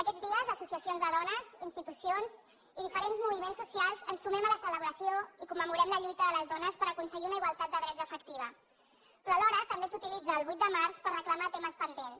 aquests dies associacions de dones institucions i diferents moviments socials ens sumem a la celebració i commemorem la lluita de les dones per aconseguir una igualtat de drets efectiva però alhora també s’utilitza el vuit de març per reclamar temes pendents